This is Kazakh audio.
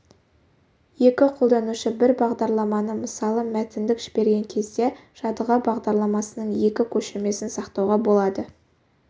екі қолданушы бір бағдарламаны мысалы мәтіндік жіберген кезде жадыға бағдарламасының екі көшірмесін сақтауға болады